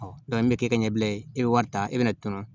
an bɛ kɛ ɲɛbila ye e bɛ wari ta e bɛ na tɔnɔ